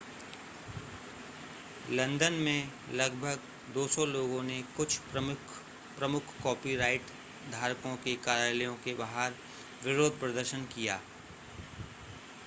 London में लगभग 200 लोगों ने कुछ प्रमुख कॉपीराइट धारकों के कार्यालयों के बाहर विरोध प्रदर्शन किया